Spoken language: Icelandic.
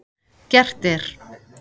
Gert er